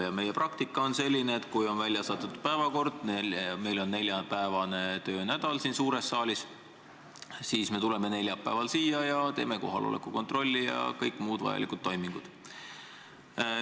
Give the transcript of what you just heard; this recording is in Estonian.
Ja meie praktika on selline, et kui päevakord on välja saadetud ja meil on neljapäevane töönädal siin suures saalis, siis me tuleme ka neljapäeval siia, teeme kohaloleku kontrolli ja kõik muud vajalikud toimingud.